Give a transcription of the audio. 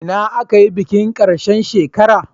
Ina aka yi bikin karshe shekara?